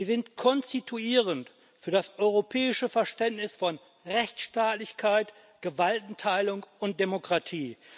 Sie sind konstituierend für das europäische Verständnis von Rechtsstaatlichkeit, Gewaltenteilung und Demokratie.